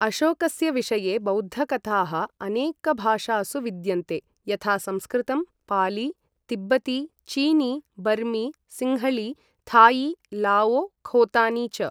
अशोकस्य विषये बौद्धकथाः अनेकभाषासु विद्यन्ते, यथा संस्कृतं, पाली, तिब्बती, चीनी, बर्मी, सिंहली, थाई, लाओ, खोतानी च।